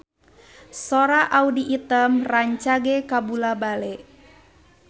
Sora Audy Item rancage kabula-bale